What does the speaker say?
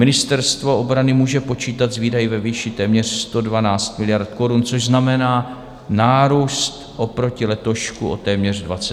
Ministerstvo obrany může počítat s výdaji ve výši téměř 112 miliard korun, což znamená nárůst oproti letošku o téměř 23 miliard.